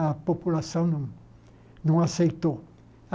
A população não não aceitou.